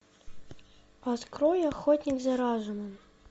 открой охотник за разумом